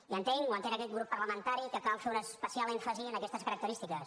i entenc o ho entén aquest grup parlamentari que cal fer un especial èmfasi en aquestes característiques